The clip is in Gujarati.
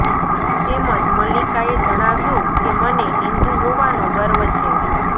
તેમજ મલ્લિકાએ જણાવ્યું કે મને હિન્દુ હોવાનો ગર્વ છે